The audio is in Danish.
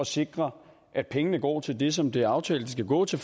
sikre at pengene går til det som det er aftalt de skal gå til